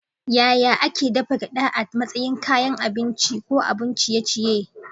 Yaya ake dafa gyada a matsayin kayan abinci ko abun ciye-ciye?